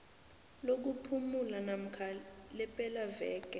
lokuphumula namkha lepelaveke